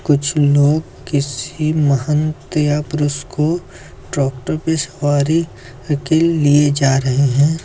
कुछ लोग किसी महंत या पुरुष को ट्रॉक्टर पे सवारी के लिए जा रहे हैं।